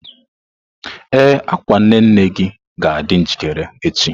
Ee, akwa nne nne gị ga-adị njikere echi.